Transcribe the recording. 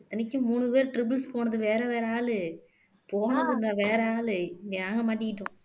இத்தனைக்கும் மூணு பேர் triples போனது வேற வேற ஆளு போனதுங்க வேற ஆளு நாங்க மாட்டிக்கிட்டோம்